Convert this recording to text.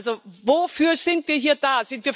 Also wofür sind wir hier da?